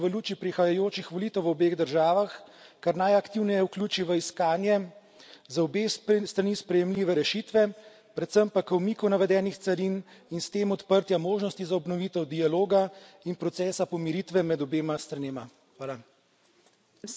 Pozivam Komisijo, da se v luči prihajajočih volitev v obeh državah kar najaktivneje vključi v iskanje za obe strani sprejemljive rešitve, predvsem pa k umiku navedenih carin in s tem odprtjem možnosti za obnovitev dialoga in procesa pomiritve med obema stranema.